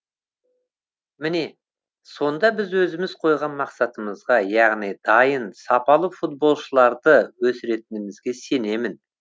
міне сонда біз өзіміз қойған мақсатымызға яғни дайын сапалы футболшыларды өсіретінімізге сенемін